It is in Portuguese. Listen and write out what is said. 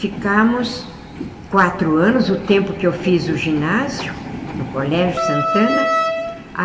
Ficamos quatro anos, o tempo que eu fiz o ginásio no Colégio Santana.